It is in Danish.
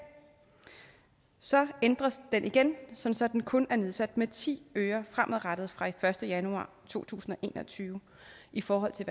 så ændres den igen så så den kun er nedsat med ti øre fremadrettet fra den første januar to tusind og en og tyve i forhold til